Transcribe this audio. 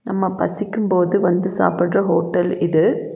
நம்ம பசிக்கும் போது வந்து சாப்பிடுற ஹோட்டல் இது.